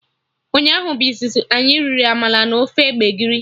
Ụnyaahụ bụ izizi anyị riri amala na ofe gbegiri